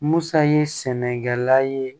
Musa ye sɛnɛkɛla ye